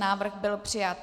Návrh byl přijat.